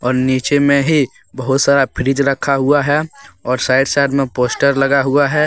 और नीचे में ही बहुत सारा फ्रिज रखा हुआ है। और साइड - साइड में पोस्टर लगा हुआ है।